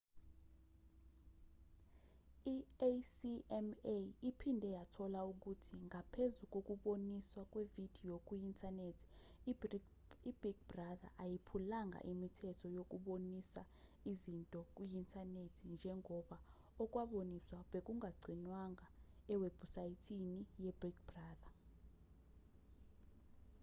i-acma iphinde yathola ukuthi ngaphezu kokuboniswa kwevidiyo kuyi-inthanethi i-big brother ayiphulanga imithetho yokubonisa izinto kuyi-inthanethi njengoba okwakuboniswa bekungagcinwanga ewebhusayithini ye-big brother